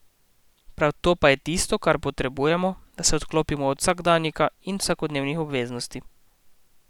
Prav to pa je tisto, kar potrebujemo, da se odklopimo od vsakdanjika in vsakodnevnih obveznosti.